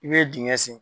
I bɛ dingɛ sen